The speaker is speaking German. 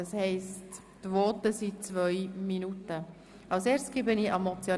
Das heisst, die Länge der Voten beträgt zwei Minuten.